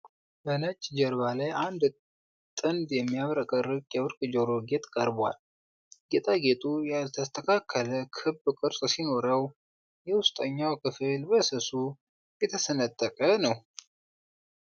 በነጭ ጀርባ ላይ አንድ ጥንድ የሚያብረቀርቅ የወርቅ የጆሮ ጌጥ ቀርቧል። ጌጣጌጡ ያልተስተካከለ ክብ ቅርጽ ሲኖረው፣ የውስጠኛው ክፍል በስሱ የተሰነጠቀ ነው።